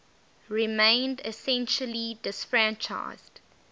remained essentially disfranchised